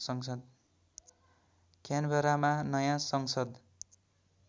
क्यानबरामा नयाँ संसद